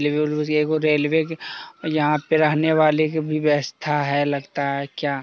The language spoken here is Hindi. रेलवे के यहाँ पे रहने वाले व्यवस्था है लगता है क्या--